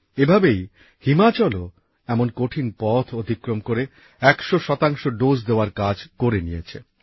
এভাবেই হিমাচলও এমন কঠিন পথ অতিক্রম করে একশো শতাংশ ডোজ দেওয়ার কাজ করে নিয়েছে